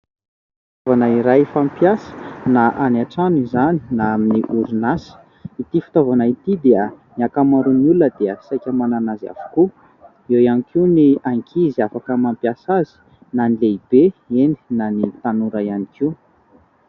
Fitaovana iray fampiasa na any an-trano izany na amin'ny orinasa. Ity fitaovana ity dia ny ankamaroan'ny olona dia saika manana azy avokoa. Eo ihany koa ny ankizy afaka mampiasa azy na ny lehibe. Eny, na ny tanora ihany koa.